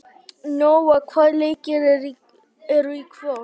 Nóa, hvaða leikir eru í kvöld?